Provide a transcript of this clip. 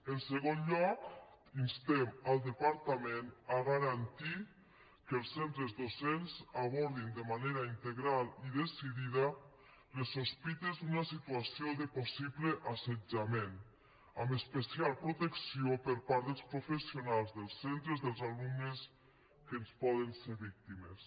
en segon lloc instem el departament a garantir que els centres docents abordin de manera integral i decidida les sospites d’una situació de possible assetjament amb especial protecció per part dels professionals dels centres dels alumnes que en poden ser víctimes